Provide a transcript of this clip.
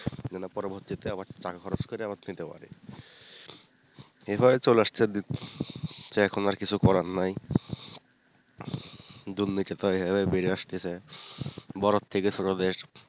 যেন পরবর্তীতে আবার টাকা খরচ করে আবার পেতে পারি এইভাবে চলে আসছে তো এখন আর কিছু করার নাই দুর্নীতি তো এইভাবে বেড়ে আসতেছে বড় থেকে ছোট দের,